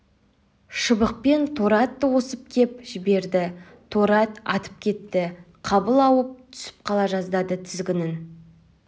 шыбықпен торы атты осып кеп жіберді торы ат атып кетті қабыл ауып түсіп қала жаздады тізгінін